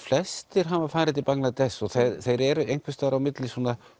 flestir hafa farið til Bangladesh og þeir eru á milli